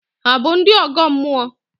Hà bụ ndị ọgọ mmụọ?